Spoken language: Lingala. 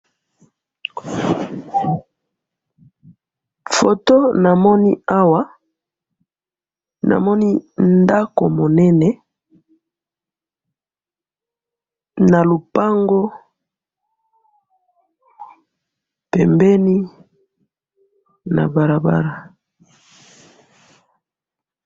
photo namoni awa namoni ndako munene na lopango pembine ya barabara